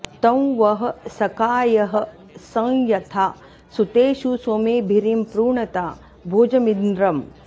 तं वः सखायः सं यथा सुतेषु सोमेभिरीं पृणता भोजमिन्द्रम्